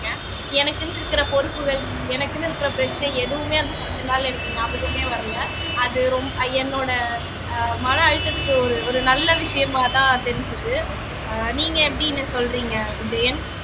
எனக்குன்னு இருக்கிற பொறுப்புகள் எனக்குன்னு இருக்கிற பிரச்சனை எதுவுமே அந்த பத்து நாள்ல எனக்கு ஞாபகமே வரலை அது ரொம் என்னோட அஹ் மன அழுத்தத்துக்கு ஒரு ஒரு நல்ல விஷயமாதான் தெரிஞ்சுது அஹ் நீங்க எப்படின்னு சொல்றீங்க விஜயன்